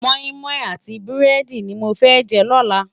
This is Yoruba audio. Mòimòi áti búrèdi ni mó fè jè lòlá